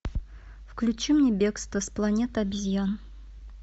включи мне бегство с планеты обезьян